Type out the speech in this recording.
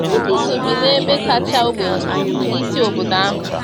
Tukiso bi n’ebe kacha ogbenye na isi obodo ahụ.